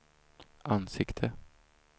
ansikte